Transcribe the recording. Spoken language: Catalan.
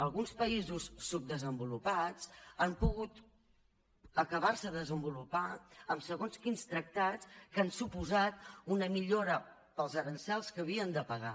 alguns països subdesenvolupats han pogut acabar se de desenvolupar amb segons quins tractats que han suposat una millora pels aranzels que havien de pagar